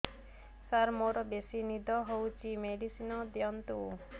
ସାର ମୋରୋ ବେସି ନିଦ ହଉଚି ମେଡିସିନ ଦିଅନ୍ତୁ